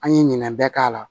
An ye ɲinɛ bɛɛ k'a la